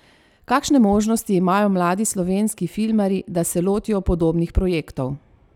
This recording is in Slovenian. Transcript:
Kakšne možnosti imajo mladi slovenski filmarji, da se lotijo podobnih projektov?